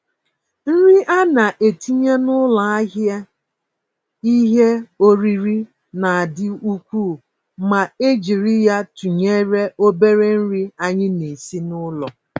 Nri ana-etinye n'ụlọ ahịa ìhè oriri na-adị ukwuu ma e jiri ya tụnyere obere nri anyị na-esi n'ụlọ.